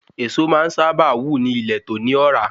Èso máa n sáábà wù ni ile to ni ọ̀rá